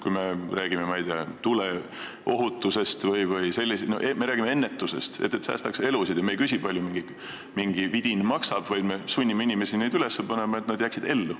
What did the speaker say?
Kui me räägime, ma ei tea, tuleohutusest, siis me räägime ennetusest, et me säästaksime elusid, ja me ei küsi, kui palju mingi vidin maksab, vaid me sunnime inimesi neid vidinaid üles panema, et nad jääksid ellu.